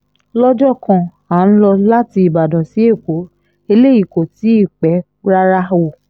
lọ́jọ́ kan à ń lọ láti ìbàdàn sí ẹ̀kọ́ eléyìí kò tí ì pẹ́ rárá o